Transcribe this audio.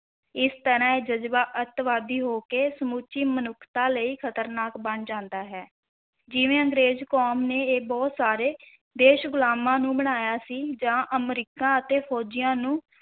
ਇਸ ਤਰ੍ਹਾਂ ਇਹ ਜਜ਼ਬਾ ਅੱਤਵਾਦੀ ਹੋ ਕੇ ਸਮੁੱਚੀ ਮਨੁੱਖਤਾ ਲਈ ਖ਼ਤਰਨਾਕ ਬਣ ਜਾਂਦਾ ਹੈ, ਜਿਵੇਂ ਅੰਗਰੇਜ਼ ਕੌਮ ਨੇ ਇਹ ਬਹੁਤ ਸਾਰੇ ਦੇਸ਼ ਗੁਲਾਮਾਂ ਨੂੰ ਬਣਾਇਆ ਸੀ, ਜਾਂ ਅਮਰੀਕਾ ਅਤੇ ਫ਼ੌਜੀਆਂ ਨੂੰ